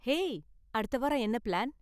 Hey, அடுத்த வாரம் என்ன பிளான்?